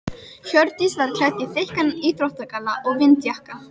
Hjördís var klædd í þykkan íþróttagalla og vindjakka.